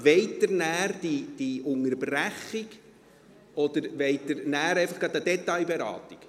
Wollen Sie nachher diese Unterbrechung oder wollen Sie nachher gleich eine Detailberatung?